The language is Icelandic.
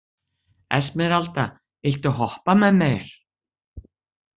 Esmeralda, viltu hoppa með mér?